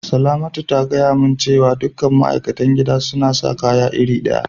Salamatu ta gaya mun cewa dukan ma'aikatan gidan suna sa kaya iri daya.